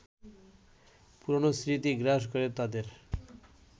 পুরনো স্মৃতি গ্রাস করে তাদের